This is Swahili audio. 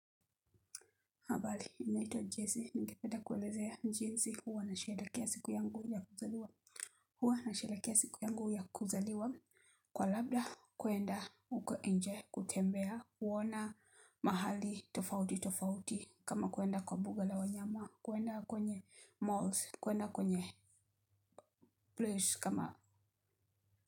Habari, naitwa Jazzy. Ningependa kuelezea jinsi huwa nasherehekea siku yangu ya kuzaliwa. Huwa na sheda kia siku yangu ya kuzaliwa. Kwa labda, kuenda uko nje kutembea. Huona mahali tofauti tofauti. Kama kuenda kwa buga la wanyama. Kuenda kwenye malls. Kuenda kwenye place kama.